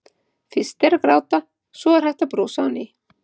Fyrst er að gráta, svo er hægt að brosa á ný.